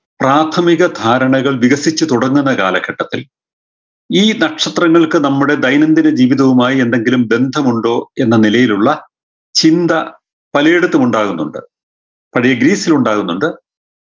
പ്രാഥമിക ധാരണകൾ വികസിച്ചു തുടങ്ങുന്ന കാലഘട്ടത്തിൽ ഈ നക്ഷത്രങ്ങൾക്ക് നമ്മുടെ ദൈനംദിന ജീവിതവുമായ് എന്തെങ്കിലും ബന്ധമുണ്ടോ എന്ന നിലയിലുള്ള ചിന്ത പാലയെടുത്തും ഉണ്ടാവുന്നുണ്ട് പഴേ ഗ്രീസിലുമുണ്ടാവുന്നുണ്ട്